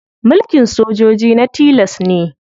Mulkin sojoji na tilas ne.